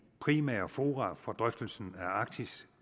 primære fora for drøftelsen af arktis